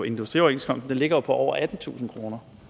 industrioverenskomsten ligger jo på over attentusind kroner